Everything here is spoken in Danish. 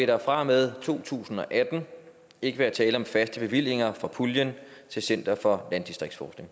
der fra og med to tusind og atten ikke være tale om faste bevillinger fra puljen til center for landdistriktsforskning